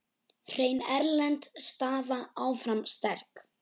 Hrein erlend staða áfram sterk.